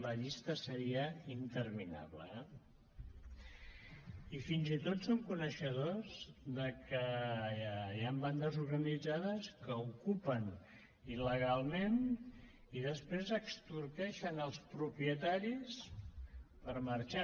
la llista seria interminable eh i fins i tot som coneixedors de que hi han bandes organitzades que ocupen il·legalment i després extorqueixen els propietaris per marxar